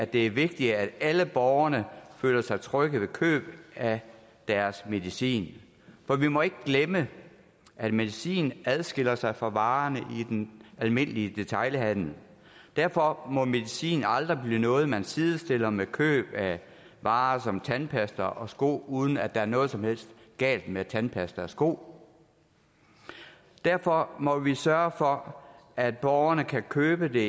det er vigtigt at alle borgere føler sig trygge ved køb af deres medicin for vi må ikke glemme at medicin adskiller sig fra varerne i den almindelige detailhandel derfor må medicin aldrig blive noget man sidestiller med køb af varer som tandpasta og sko uden at der er noget som helst galt med tandpasta og sko derfor må vi sørge for at borgerne kan købe